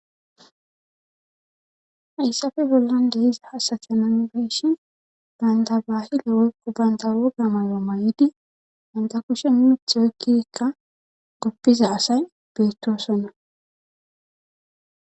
hayssafe bollan dehiza hasathanan beeshi bandabahila weykko banta roga mayo may7idi ganta kushen mitheoykkikka goppiza asay beettoosonna